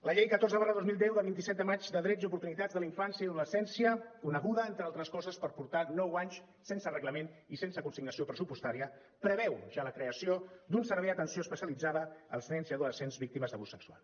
la llei catorze dos mil deu de vint set de maig de drets i oportunitats de la infància i l’adolescència coneguda entre altres coses per portar nou anys sense reglament i sense consignació pressupostària preveu ja la creació d’un servei d’atenció especialitzada als nens i adolescents víctimes d’abús sexual